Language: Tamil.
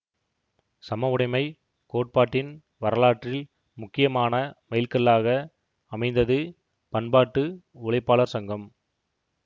சமவுடைமை கோட்பாட்டின் வரலாற்றில் முக்கியமான மைல்கல்லாக அமைந்தது பன்பாட்டு உழைப்பாளர் சங்கம்